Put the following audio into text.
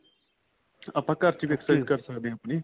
ਆਪਾਂ ਘਰ ਚ ਹੀ exercise ਕਰ ਸਕਦੇ ਹਾਂ ਆਪਣੇਂ